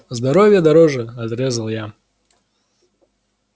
здоровье дороже отрезал я